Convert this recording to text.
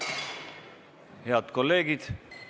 Head kolleegid!